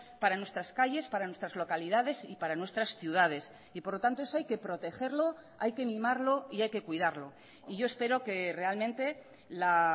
para nuestras calles para nuestras localidades y para nuestras ciudades y por lo tanto eso hay que protegerlo hay que mimarlo y hay que cuidarlo y yo espero que realmente la